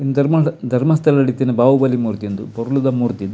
ಉಂದು ಧರ್ಮದ ಧರ್ಮಸ್ಥಳ ಟು ಇತ್ತಿನ ಬಾಹುಬಲಿ ಮೂರ್ತಿ ಉಂದು ಪೊರ್ಲುದ ಮೂರ್ತಿ ಉಂದು.